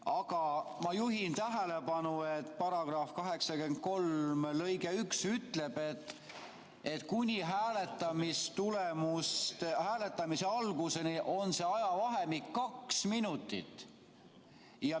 Aga ma juhin tähelepanu, et § 83 lõige 1 ütleb, et kuni hääletamise alguseni on see ajavahemik kaks minutit.